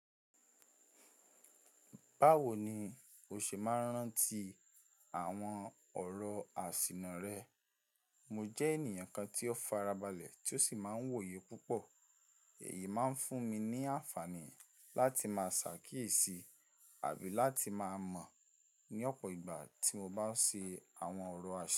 Báwo ni o ṣe máa ń rántí àwọn ọ̀rọ̀ àsìnà rẹ? Mo jẹ́ ènìyàn kan tí ó farabalẹ̀ tí ó sì máa ń wòye púpọ̀, èyí máa ń fún mi ní àǹfààní láti máa ṣàkíyèsí àbí láti máa mọ̀ ní ọ̀pọ̀ ìgbà tí mo bá ń ṣe àwọn ọ̀rọ̀ àṣì.